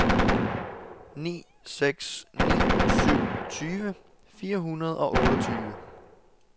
ni seks ni syv tyve fire hundrede og otteogtyve